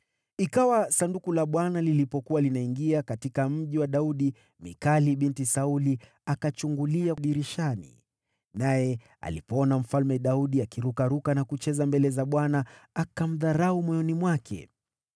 Ikawa Sanduku la Bwana lilipokuwa linaingia katika Mji wa Daudi, Mikali binti Sauli akachungulia dirishani. Naye alipomwona Mfalme Daudi akirukaruka na kucheza mbele za Bwana , akamdharau moyoni mwake.